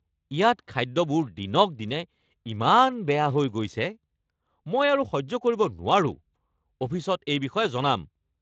ইয়াত খাদ্যবোৰ দিনক দিনে ইমান বেয়া হৈ গৈছে। মই আৰু সহ্য কৰিব নোৱাৰোঁ, অফিচত এই বিষয়ে জনাম।